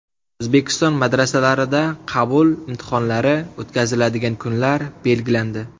O‘zbekiston madrasalarida qabul imtihonlari o‘tkaziladigan kunlar belgilandi.